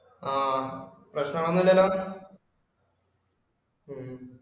ആഹ് പ്രശ്‍നം ഒന്നും ഇല്ലല്ലോ ഉം